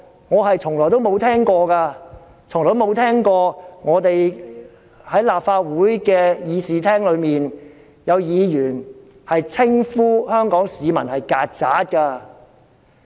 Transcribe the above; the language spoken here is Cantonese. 我是聞所未聞的，我從未聽過在立法會議事廳裏，有議員稱呼香港市民為"曱甴"。